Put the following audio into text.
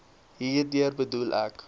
hierdeur bedoel ek